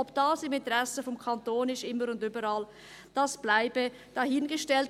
Ob dies im Interesse des Kantons sei, immer und überall, das bleibe dahingestellt.